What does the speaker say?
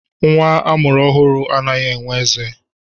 Nwa a mụrụ ọhụrụ anaghị enwe eze.